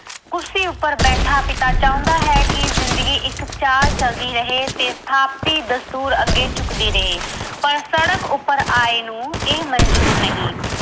ਕੁਰਸੀ ਉੱਪਰ ਬੈਠਾ ਪਿਤਾ ਚਾਹੁੰਦਾ ਹੈ ਕਿ ਜਿੰਦਗੀ ਇੱਕ ਚਾਲ ਚੱਲਦੀ ਰਹੇ ਤੇ ਸਥਾਪਤੀ ਦਸਤੂਰ ਅੱਗੇ ਚੁੱਕਦੀ ਰਹੇ ਪਰ ਸੜਕ ਉੱਪਰ ਆਏ ਨੂੰ ਇਹ ਮਨਜ਼ੂਰ ਨਹੀਂ